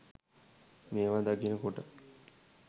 මේවා දකින කොට.